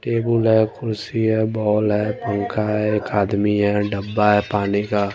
Table है कुर्सी है बाउल है पंखा है एक आदमी है डब्बा है पानी का।